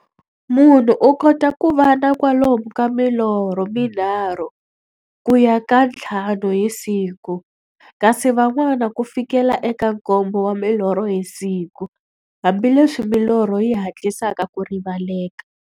Munhu u kota ku va na kwalomu ka milorho mi nharhu ku ya ka ya nthlanu hi siku, kasi van'wana ku fikela eka nkombo wa milorho hi siku, hambileswi milorho yi hatlisaka ku rivaleka.